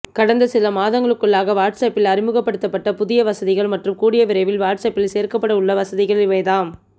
கடந்த சில மாதங்களுக்குள்ளாக வாட்ஸ்அப்பில் அறிமுகப்படுத்தப்பட்ட புதிய வசதிகள் மற்றும் கூடிய விரைவில் வாட்ஸ்அப்பில் சேர்க்கப்படவுள்ள வசதிகள் இவைதாம்